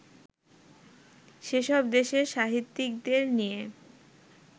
সেসব দেশের সাহিত্যিকদের নিয়ে